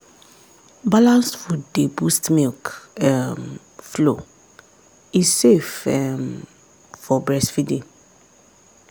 balanced food dey boost milk um flow e safe um for breastfeeding.